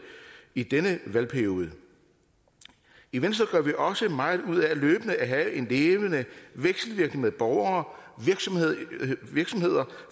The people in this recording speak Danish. i denne valgperiode i venstre gør vi også meget ud af løbende at have en levende vekselvirkning med borgere virksomheder